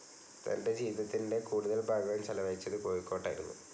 തൻ്റെ ജീവിതത്തിൻ്റെ കൂടുതൽ ഭാഗവും ചെലവഴിച്ചത് കോഴിക്കോട്ടായിരുന്നു